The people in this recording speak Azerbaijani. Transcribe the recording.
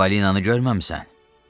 Ağ balinanı görməmisən?